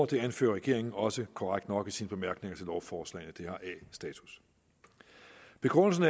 det anfører regeringen også korrekt nok i sine bemærkninger til lovforslagene det har a status begrundelsen